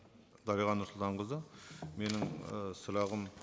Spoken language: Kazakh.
дариға нұрсұлтанқызы менің ы сұрағым